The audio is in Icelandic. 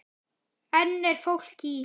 Enn er fólk í